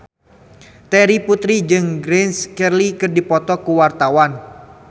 Terry Putri jeung Grace Kelly keur dipoto ku wartawan